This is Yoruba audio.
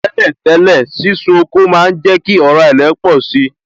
Tẹ́lẹ̀ tẹ́lẹ̀, sísun oko má ń jẹ kí ọ̀rá ilẹ̀ pọ̀si